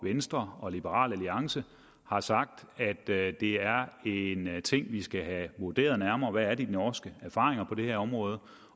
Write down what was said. venstre og liberal alliance har sagt at det det er en ting vi skal have vurderet nærmere nemlig hvad de norske erfaringer er på det her område